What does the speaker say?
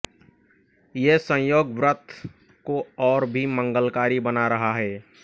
ये संयोग व्रत को और भी मंगलकारी बना रहा है